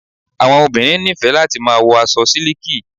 Àwọn obìnrin nífẹ̀ẹ́ láti máa wo aṣọ síliki